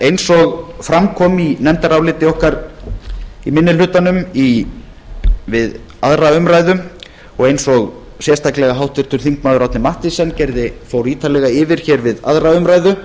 eins og fram kom í nefndaráliti okkar í minni hlutanum við aðra umræðu og eins og sérstaklega háttvirtur þingmaður árni mathiesen fór ítarlega yfir við aðra umræðu